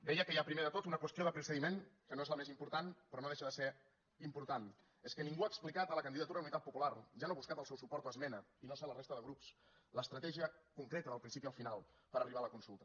deia que hi ha primer de tot una qüestió de procediment que no és la més important però no deixa de ser important és que ningú ha explicat a la candidatura d’unitat popular ja no ha buscat el seu suport a esmena i no sé a la resta de grups l’estratègia concreta del principi al final per arribar a la consulta